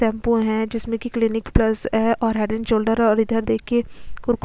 shampoo है जिसमे की क्लीनीक प्लस और हेयर एंड शोल्डर है और इधर देखिए--